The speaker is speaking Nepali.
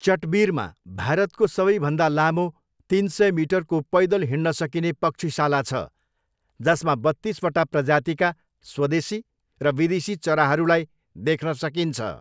चटबिरमा भारतको सबैभन्दा लामो तिन सय मिटरको पैदल हिँड्न सकिने पक्षीशाल छ जसमा बत्तिसवटा प्रजातिका स्वदेशी र विदेशी चराहरूलाई देख्न सकिन्छ।